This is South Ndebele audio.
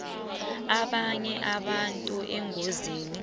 abanye abantu engozini